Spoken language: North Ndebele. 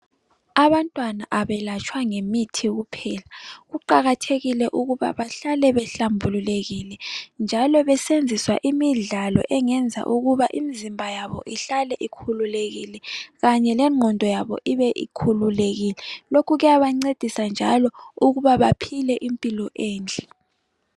abantwana abelatshwa ngemithi kuqakathekile ukuba bahlale behlambululekile njalo besenziswa imidlalo engenza ukuba imizimba yabo ihlale ikhululekile kanye lengqondo yabo ihlale ikhululekile lokhu kuyabancedisa njalo ukuba baphile impilo enhle